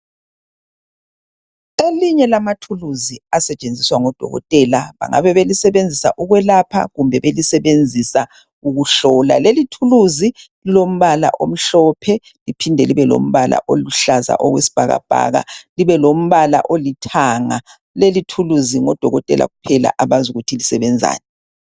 Elinye lamathuluzi asetshenziswa ngodokotela, bangabe belisebenzisa ukwelapha kumbe belisebenzisa ukuhlola. Leli thuluzi lilombala omhlophe liphinde libe lombala oluhlaza okwesibhakabhaka, libe lombala olithanga. Leli thuluzi ngodokotela kuphela abazi ukuthi lisebenzani.